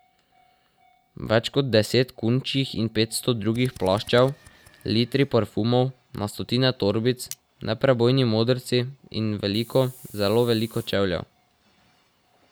Več kot deset kunčjih in petsto drugih plaščev, litri parfumov, na stotine torbic, neprebojni modrci in veliko, zelo veliko čevljev.